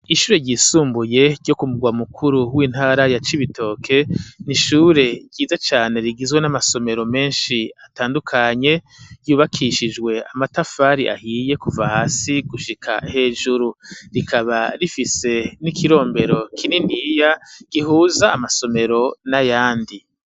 Ishure ryisumbuye ryo kumugwa mukuru w'intara ya cibitoke nishure ryiza cyane rigizwe n'amasomero menshi atandukanye ryubakishijwe amatafari ahiye kuva hasi gushika hejuru rikaba rifise n'ikirombero kininiya gihuza amasomero n'ayandi.